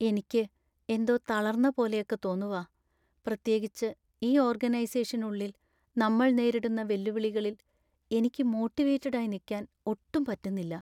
എനിക്ക് എന്തോ തളർന്ന പോലെയൊക്കെ തോന്നുവാ. പ്രത്യേകിച്ച് ഈ ഓർഗനൈസെഷനുള്ളിൽ നമ്മൾ നേരിടുന്ന വെല്ലുവിളികളിൽ എനിക്ക് മോട്ടിവേറ്റഡായി നിക്കാൻ ഒട്ടും പറ്റുന്നില്ല.